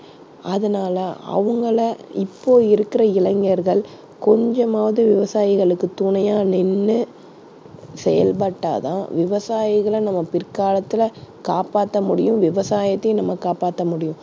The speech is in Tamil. அதனால அவங்களை இப்போ இருக்குற இளைஞர்கள் கொஞ்சமாவது விவசாயிகளுக்குத் துணையா நின்னு செயல்பட்டா தான் விவசாயிகளை நம்ம பிற்காலத்தில காப்பாத்த முடியும், விவசாயத்தையும் நம்ம காப்பாத்த முடியும்.